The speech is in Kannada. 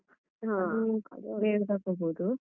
ಹ.